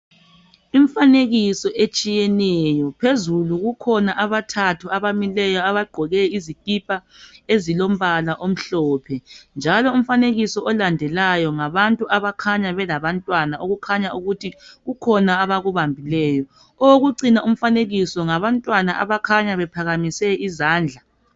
Imfanekiso etshiyeneyo, phezulu kukhona abathathu abagqoke izikipha ezilombala omhlophe njalo umfanekiso olandelayo ngabantu abakhanya belabantwana okukhanya ukuthi kukhona abakubambileyo. Owokucina umfanekiso ngabantwana abakhanya bephakamise izandla